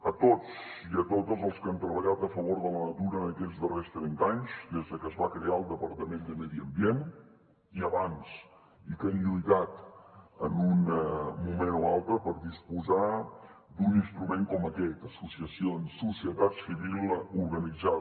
a tots i a totes els que han treballat a favor de la natura en aquests darrers trenta anys des de que es va crear el departament de medi ambient i abans i que han lluitat en un moment o altre per disposar d’un instrument com aquest associacions societat civil organitzada